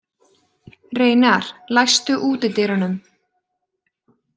Reynar, læstu útidyrunum.